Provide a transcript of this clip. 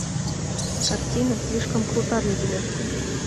картина слишком крута для тебя